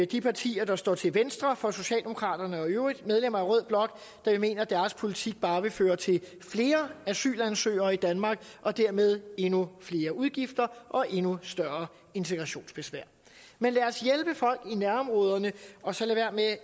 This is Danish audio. de partier der står til venstre for socialdemokraterne og i øvrigt medlemmer af rød blok da vi mener at deres politik bare vil føre til flere asylansøgere i danmark og dermed endnu flere udgifter og endnu større integrationsbesvær men lad os hjælpe folk i nærområderne og så lade være